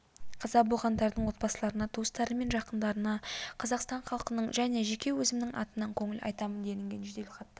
қаза болғандардың отбасыларына туыстары мен жақындарына қазақстан халқының және жеке өзімнің атымнан көңіл айтамын делінген жеделхатта